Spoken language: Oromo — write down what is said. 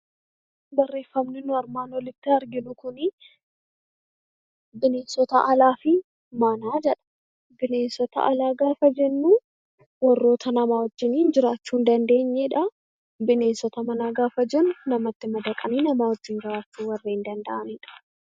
Barreeffamni nuyi armaan olitti arginu kuni 'Bineensota alaa fi manaa' jedha. Bineensota alaa gaafa jennu warroota namaa wajjiniin jiraachuu hin dandeenye dha. Bineensota manaa gaafa jennu namatti madaqanii namaa wajjin jiraachuu warreen danda'ani dha.